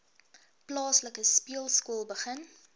plaaslike speelskool begin